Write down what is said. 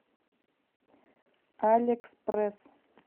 алекспресс